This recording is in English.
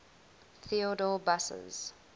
theodor busse's